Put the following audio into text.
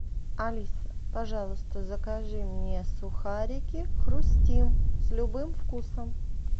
алиса пожалуйста закажи мне сухарики хрустим с любым вкусом